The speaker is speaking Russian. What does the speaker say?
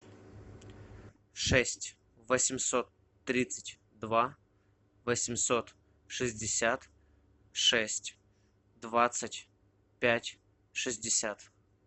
шесть восемьсот тридцать два восемьсот шестьдесят шесть двадцать пять шестьдесят